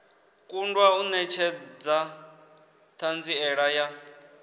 kundwa u netshedza thanziela ya